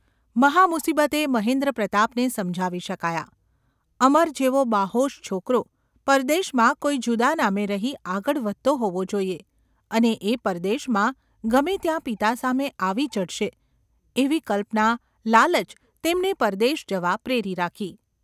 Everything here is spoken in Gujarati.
મહામુસીબતે મહેન્દ્રપ્રતાપને સમજાવી શકાયા. અમર જેવો બાહોશ છોકરો પરદેશમાં કોઈ જુદા નામે રહી આગળ વધતો હોવો જોઈએ અને એ પરદેશમાં ગમે ત્યાં પિતા સામે આવી ચઢશે એવી કલ્પના લાલચ તેમને પરદેશ જવા પ્રેરી રાકી.